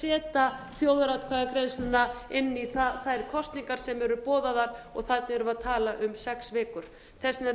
setja þjóðaratkvæðagreiðsluna inn í þær kosningar sem eru boðaðar þarna erum við að ætla aum sex vikur þess vegna er